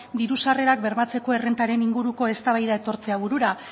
diru sarrerak bermatzeko errentaren inguruko eztabaida etortzea burura